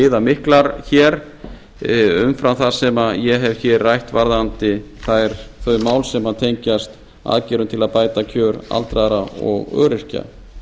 viðamiklar hér umfram það sem ég hef hér rætt varðandi það mál sem tengjast aðgerðum til að bæta kjör aldraðra og öryrkja